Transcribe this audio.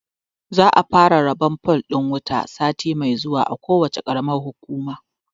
Za a fara rabon fol ɗin wuta sati mai zuwa a kowacce ƙaramar hukuma.